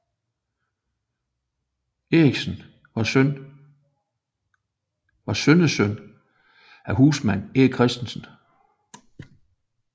Eriksen var søn søn af husmand Erik Christensen